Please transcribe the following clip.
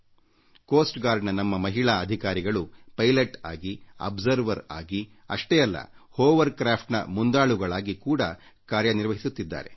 ಕರಾವಳಿ ಭದ್ರತಾ ಪಡೆಯ ನಮ್ಮ ಮಹಿಳಾ ಅಧಿಕಾರಿಗಳು ಪೈಲಟ್ ಗಳಾಗಿ ವೀಕ್ಷಕರಾಗಿ ಅಷ್ಟೇ ಅಲ್ಲ ಹೋವರ್ಕ್ರಾಫ್ಟ್ ಗಳ ಮುಂದಾಳುಗಳಾಗಿ ಕೂಡಾ ಕಾರ್ಯ ನಿರ್ವಹಿಸುತ್ತಿದ್ದಾರೆ